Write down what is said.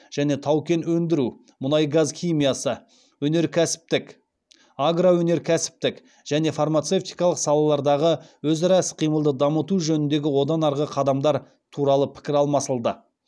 және тау кен өндіру мұнай газ химиясы агроөнеркәсіптік және фармацевтикалық салалардағы өзара іс қимылды дамыту жөніндегі одан арғы қадамдар туралы пікір алмасылды